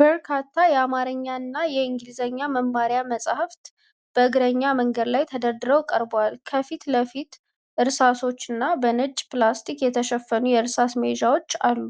በርካታ የአማርኛና የእንግሊዝኛ መማሪያ መጽሐፍት በእግረኛ መንገድ ላይ ተደርድረው ቀርበዋል። ከፊት ለፊት እርሳሶችና በነጭ ፕላስቲክ የተሸፈኑ የእርሳስ መያዣዎች አሉ።